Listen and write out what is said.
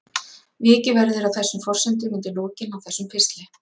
Vikið verður að þessum forsendum undir lokin á þessum pistli.